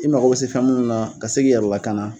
I mako bɛ se fɛn minnu na ka se se k'i yɛrɛ lakana